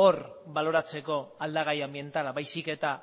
hor baloratzeko aldagai anbientala baizik eta